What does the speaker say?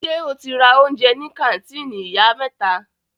Ṣe o ti ra oúnjẹ ní kàńtìnì Ìyá mẹ́ta?